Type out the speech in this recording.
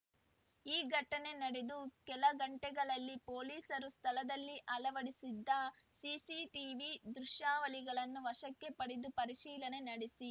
ಈ ಘಟನೆ ನಡೆದು ಕೆಲ ಗಂಟೆಗಳಲ್ಲಿ ಪೊಲೀಸರು ಸ್ಥಳದಲ್ಲಿ ಅಳವಡಿಸಿದ್ದ ಸಿಸಿಟಿವಿ ದೃಶ್ಯಾವಳಿಗಳನ್ನು ವಶಕ್ಕೆ ಪಡೆದು ಪರಿಶೀಲನೆ ನಡೆಸಿ